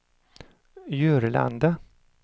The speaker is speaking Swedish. Jörlanda